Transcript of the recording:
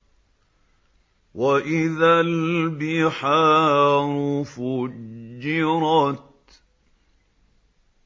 وَإِذَا الْبِحَارُ فُجِّرَتْ